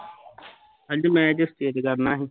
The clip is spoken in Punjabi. ਅੱਜ match state ਕਰਨਾ ਸੀ